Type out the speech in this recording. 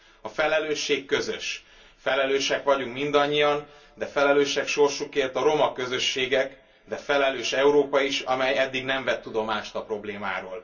A felelősség közös, felelősek vagyunk mindannyian, de felelősek sorsukért a roma közösségek, felelős Európa is, amely eddig nem vett tudomást a problémáról.